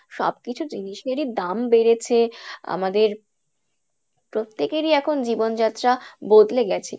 হয়তো এখন সব কিছু জিনিসেরই দাম বেড়েছে, আমাদের প্রত্যেকেরই এখন জীবন যাত্রা বদলে গেছে